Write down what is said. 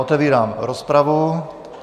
Otevírám rozpravu.